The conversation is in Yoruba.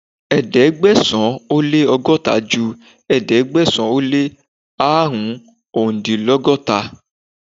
Ẹ̀ẹ́dẹ̀gbẹ̀sán ó lé ọgọ́ta ju ẹ̀ẹ́dẹ́gbẹ̀sán ó lé árùn-úndínlọ́gọ́ta